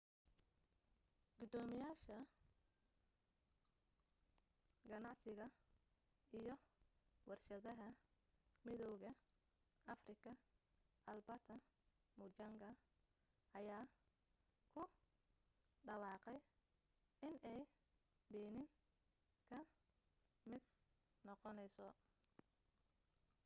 gudoomiyaha ganacsiga iyo warshadaha midowga afrika albert muchanga ayaa ku dhawaaqay inay benin ka mid noqonayso